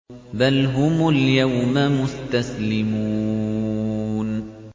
بَلْ هُمُ الْيَوْمَ مُسْتَسْلِمُونَ